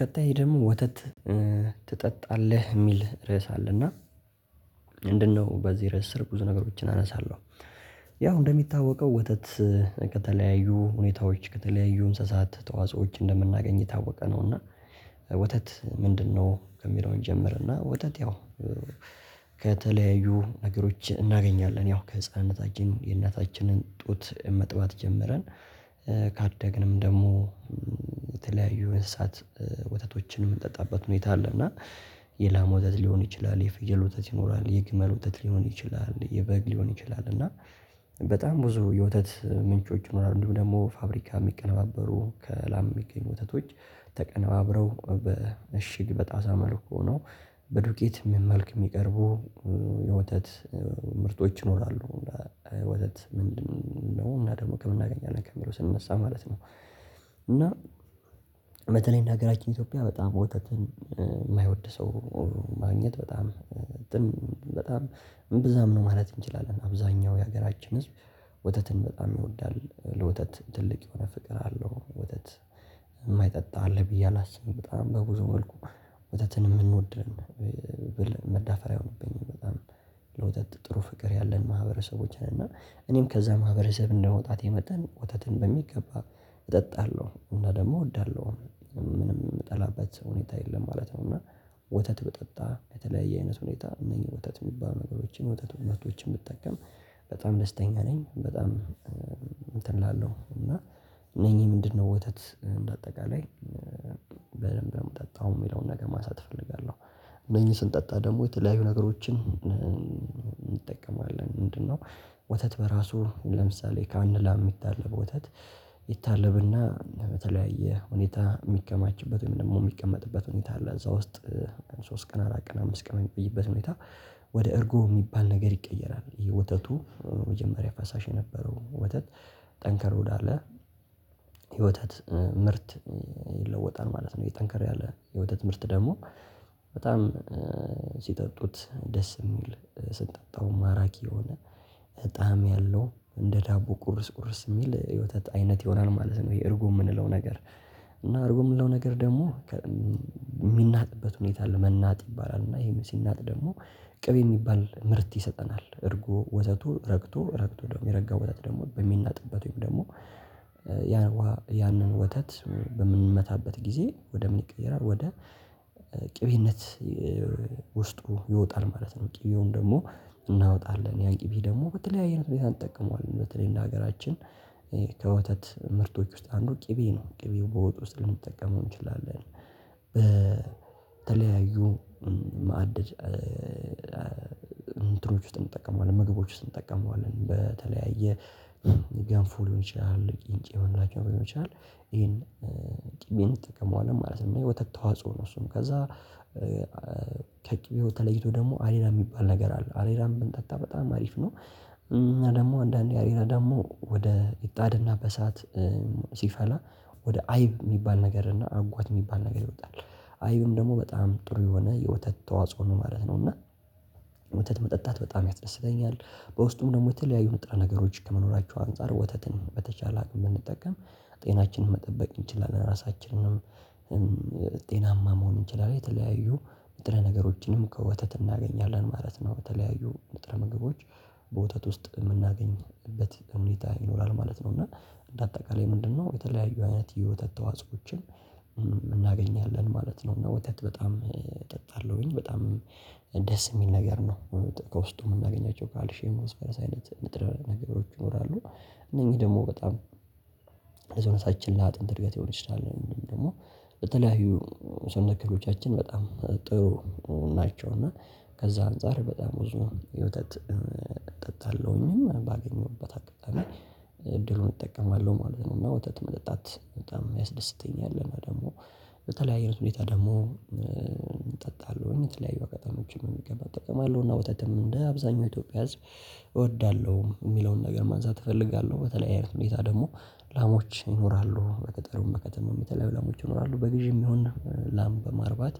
ቀጣይ ደግሞ ወተት ትጠጣለህ ሚል ርዕስ አለ እና ምንድነው በዚህ ርዕስ ስር ብዙ ነገሮችን አነሳለሁ። ያው እንደሚታወቀው ወተት ከተለያዩ ሁኔታዎች ከተለያዩ እንስሳት ተዋጾዎች እንደምናገኝ ታወቀ ነው። እና ወተት ምንድነው ከሚለው እንጀምርና? ወተት ያው ከተለያዩ ነገሮች እናገኛለን ያው ከህፃንነታችን የእናታችንን ጡት መጥባት ጀምረን ካደግንም ደግሞ የተለያዩ እንስሳት ወተቶችን የምንጠጣበት ሁኔታ አለ። እና የላም ወተት ሊሆን ይችላል የፍየል ወተት ይኖራል የግመል ወተት ሊሆን የበግ ሊሆን ይችላል እና በጣም ብዙ የወተት ምንጮች ይኖራሉ። እንዲሁም ደግሞ ፋብሪካ የሚቀነባበሩ ከላም የሚገኙ ወተቶች ተቀነባብረው በእሽግ በጣሳ መልኩ ሆኖ በዱቄት መልክ የሚቀርቡ የወተት ምርቶች ይኖራሉ። ወተት ምንድነው እና ደግሞ ከምን እናገኛለን ከሚለው ስነሳ ማለት ነው። እና በተላይ እንደ ሀገራችን እትዮጵያ በጣም ወተትን ማይወድ ሰው ማግኘት በጣም በጣም እምብዛም ነው ማለት እንችላለን። አብዛኛው የሀገራችን ህዝብ ወተትን በጣም ይወዳል ለወተት ትልቅ የሆነ ፍቅር አለው። ወተት የማይጠጣ አለ ብዬ አላስብም። በጣም በብዙ ወልኩ ወተትን የምንወድ መዳፈር አይሆንብኝ በጣም ለወተት ጥሩ ፍቅር ያለን ማህበረሰቦች ነን። እና እኔም ከዛ ማህበረሰብ እንደመውጣቴ መጠን ወተትን በሚገባ እጠጣለሁ እና ደግሞ እወዳለሁም ምንም ምጠላበት ሁኔታ የለም ማለት ነው። እና ወተት ብጠጣ በተለያየ አይነት ሁኔታ እነኚህ ወተት የሚባሉ ነገሮችን ምርቶችን ብጠቀም በጣም ደስተኛ ነኝ። በጣም እላለው እና ለኔ ምንድነው ወተት እንዳጠቃላይ በደንብ ነው የምጠጣው የሚለውን ነገር ማንሳት እፈልጋለሁ። እደዝህ ስንጠጣ ደግሞ የተለያዩ ነገሮችን እንጠቀማለን ምንድነው? ወተት በራሱ ለምሳሌ ካንድ ላም የሚታለብ ወተት ይታለብና በተለያየ ሁኔታ የሚከማችበት ወይም ደግሞ የሚቀመጥበት ሁኔታ አለ። እዛ ውስጥ ሶስት ቀን አራት ቀን አምስት ቀን የሚቆይበትን ሁኔታ ወደ እርጎ ሚባል ነገር ይቀየራል። ይሄ ወተቱ የመጀመሪያ ፈሳሽ የነበረው ወተት ጠንከር ወዳለ የወተት ምርት ይለወጣል ማለት ነው። ይሄ ጠንከረ ያለ የወተት ምርት ደግሞ በጣም ሲጠጡት ደስ የሚል ስንጠጣው ማራኪ የሆነ እጣም ያለው እንደ ዳቦ ቁርስ ቁርስ የሚል የወተት አይነት ይሆናል ማለት ነው። የእርጉ የምንለው ነገር እና አርጎ የምንለው ነገር ደግሞ የሚናጥበት ሁኔታ መናጥ ይባላል። እና ይሄም ሲናጥ ደግሞ ቅቤ ሚባል ምረት ይሰጠናል። እርጎ ወተቱ ረግቶ ረግቶ ደግሞ የረጋው ወተት ደግሞ በሚናጥበት ወይም ደግሞ ያን ያንን ወተት በምንመታበት ጊዜ ወደ ምን ይቀየራል ወደ ቅቤነት ውስጡ ይወጣል ማለት ነው። ቅቤውን ደግሞ እናወጣለን ያን ቅቤ ደግሞ በተለያየ አይነት ሁኔታ አንጠቀመዋለን በተለይ እንደ ሀገራችን ከወተት ምርቶች ውስጥ አንዱ ቅቤ ነው። ቅቤው በወጥ ውስጥ ልንጠቀመው እንችላለን በተለያዩ ማዕድ እንትኖዎች ውስጥ እንጠቀመዋለን ምግቦች ውስጥ እንጠቀመዋለን በተለያየ ገንፉ ሊሆን ይችላል ቂንጬ የምንላቸው ሊሆን ይችላል ይሄን ቅቤ እንጠቀመዋለን ማለት ነው። የወተት ተዋጽኦ ነው። እሱም ከዛ ከቅቤው ተለይቶ ደግሞ አሬራ የሚባል ነገር አለ አሬራን ብንጠጣ በጣም አሪፍ ነው። እና ደግሞ አንዳንዴ አሬራ ደግሞ ወደ ምጣድና በእሳት ሲፈላ ወደ አይብ የሚባል ነገር እና አጓት የሚባል ነገር ይወጣል። አይብም ደግሞ በጣም ጥሩ የሆነ የወተት ተዋጽኦ ነው ማለት ነው። እና የወተት መጠጣት በጣም ያስደስተኛል በውስጡም ደግሞ የተለያዩ ንጥረ ነገሮች ከመኖራቸው አንፃር ወተትን በተቻለ አቅም ብንጠቀም ጤናችንን መጠበቅ እንችላለን። ራሳችንንም ጤናማ መሆን እንችላለን የተለያዩ ንጥረ ነገሮችንም ከወተት እናገኛለን ማለት ነው። ከተለያዩ ንጥረ ነገሮች በወተት ውስጥ የምናገኝበት ሁኔታ ይኖራል ማለት ነው። እና እንደ አጠቃላይ ምንድነው የተለያዩ አይነት የወተት ተዋጽኦዎችን እናገኛለን ማለት ነው። እና ወተት በጣም እጠጣለሁኝ በጣም ደስ የሚል ነገር ነው። ከውስጡ የምናገኛቸው ካልሽም ፖሲፈረስ አይነት ንጥረ ነገሮች ይኖራሉ። እነኚህ ደግሞ በጣም ከልጅነታችን ላአጥንት እድገት ልሆን ይችላል ወይም ደግሞ በተለያዩ ሰነክሬዎቻችን በጣም ጥሩ ናቸው። እና ከዛ አንፃር በጣም ብዙ ወተት እጠጣለሁኝ፤ ባገኘሁበት አጋጣሚ እድሉን እጠቀማለሁ ማለት ነው። እና ወተት መጠጣት በጣም ያስደስተኛል፤ እና ደግሞ በተለያየ ሁኔታ ደግሞ እጠጣለሁኝ፤ የተለያዩ አጋጣሚዎችንም እጠቀማለሁ። እና ወተትም እንደ አብዛኛው የኢትዮጵያ ህዝብ እወዳለሁ የሚለውን ነገር ማንሳት እፈልጋለሁ። በተለያየ ሁኔታ ደግሞ ላሞች ይኖራሉ በገጠሩም በከተማውም የተለያዩ ላሞች ይኖራሉ በግዢ የሚሆን ላም በማርባት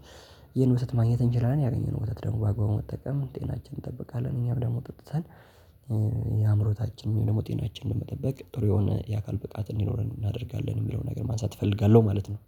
ይህን ወተት ማግኘት እንችላለን። ያገኘነው ወተት ደግሞ በአግባቡ መጠቀም ጤናችን እንጠብቃለን። እኛም ደግሞ ጠጥተን የአእምሮታችን ደግሞ ጤናችንን መጠበቅ ጥሩ የሆነ የአካል ብቃት እንዲኖረን እናደርጋለን። የሚለውን ነገር ማንሳት እፈልጋለሁ ማለት ነው።